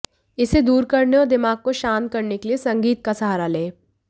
इसे दूर करने और दिमाग को शांत करने के लिए संगीत का सहारा लें